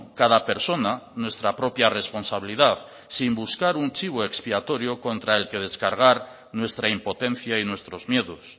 cada persona nuestra propia responsabilidad sin buscar un chivo expiatorio contra el que descargar nuestra impotencia y nuestros miedos